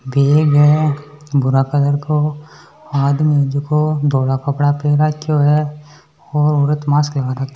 भूरा कलर को आदमी जीको धोला कपड़ा पहर राखियो है और औरत मास्क लगा के --